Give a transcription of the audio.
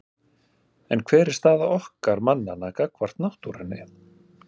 En hver er staða okkar mannanna gagnvart náttúrunni?